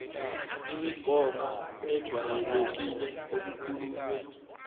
imigomo ejwayelekile okukhulunywe